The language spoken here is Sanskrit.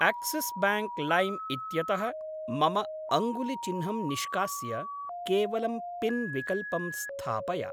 आक्सिस् ब्याङ्क् लैम् इत्यतः मम अङ्गुलिचिन्हं निष्कास्य केवलं पिन् विकल्पं स्थापय!